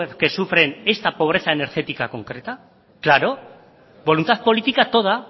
que sufren esta pobreza energética concreta claro voluntad política toda